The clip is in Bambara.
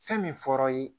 Fɛn min fɔr'a ye